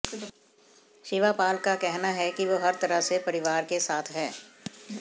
शिवापाल का कहना है कि वो हर तरह से परिवार के साथ है